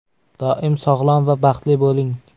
Doim sog‘lom va baxtli bo‘ling.